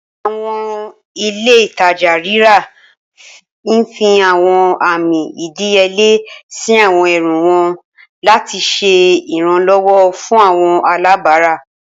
Awọn ile-itaja rira n fi awọn ami ìdíyelé si àwọn ẹrù wọn lati ṣe Iranlọwọ fun awọn alabara